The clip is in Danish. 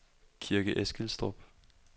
Kirke Eskilstrup